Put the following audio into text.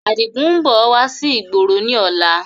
Adigun ń bọ̀ wá sí ìgboro ni ọ̀la